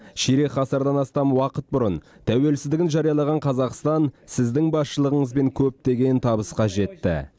ширек ғасырдан астам уақыт бұрын тәуелсіздігін жариялаған қазақстан сіздің басшылығыңызбен көптеген табысқа жетті